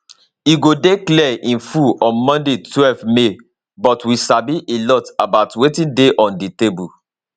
e go dey clear in full on monday twelve may but we sabi a lot about wetin dey on di table